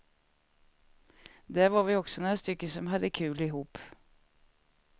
Där var vi också några stycken som hade kul ihop.